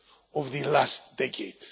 in the last decade